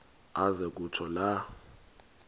aze kutsho la